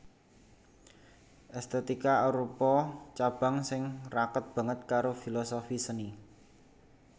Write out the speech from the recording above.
Èstètika arupa cabang sing raket banget karo filosofi seni